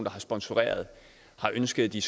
har sponsoreret har ønsket at de